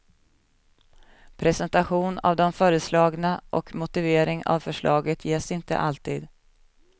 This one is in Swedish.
Presentation av de föreslagna och motivering av förslaget ges inte alltid.